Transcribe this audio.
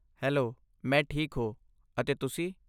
Hello, ਮੈਂ ਠੀਕ ਹੋ, ਅਤੇ ਤੁਸੀਂ?